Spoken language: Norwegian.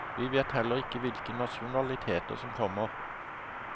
Vi vet heller ikke hvilke nasjonaliteter som kommer.